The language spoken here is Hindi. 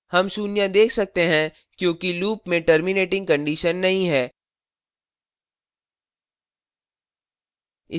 हम शून्य देख सकते हैं क्योंकि loop में terminating condition नहीं है